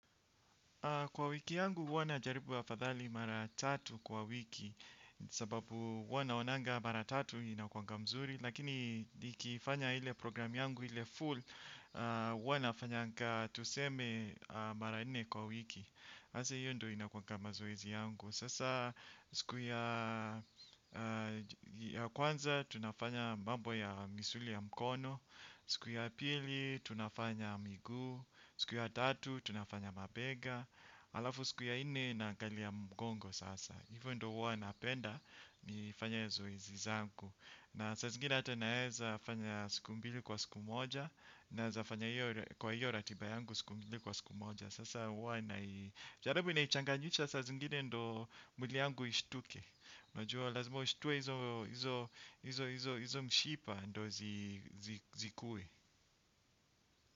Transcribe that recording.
Kwa wiki yangu huwa najaribu afadhali mara tatu kwa wiki sababu huwa naonanga mara tatu inakuanga mzuri. Lakini nikifanya ile programu yangu ile full huwa nafanyanga tuseme mara nne kwa wiki. Hasa hiyo ndiyo inakuwanga mazoezi yangu. Sasa siku ya kwanza tunafanya mambo ya misuli ya mkono. Siku ya pili tunafanya miguu. Siku ya tatu tunafanya mabega. Alafu siku ya nne na angalia mgongo sasa, hivyo ndiyo huwa napenda nifanye zoezi zangu. Na saa zingine hata naweza fanya siku mbili kwa siku moja. Naweza fanya kwa hiyo ratiba yangu siku mbili kwa siku moja. Sasa huwa naichanganyisha saa zingine ndiyo mwili wangu ushtuke. Najua lazima ushtue hizo mshipa ndiyo zikuwe.